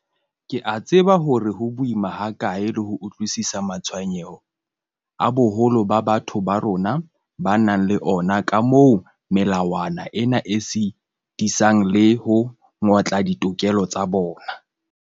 Ke a tseba hore ho boima hakae le ho utlwisisa matshwenyeho a boholo ba batho ba bo rona ba nang le ona a kamoo melawana ena e sitisang le ho ngotla ditokelo tsa bona.